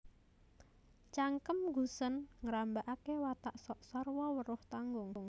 Cangkem Gusèn Nggambaraké watak sok sarwa weruh tanggung